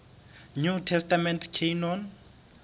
new testament canon